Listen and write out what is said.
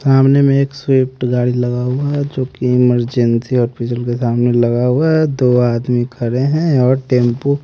सामने में एक स्विफ्ट गाड़ी लगा हुआ है जो की इमरजेंसी हॉस्पिटल के सामने लगा हुआ है दो आदमी खड़े हैं और टेंपू --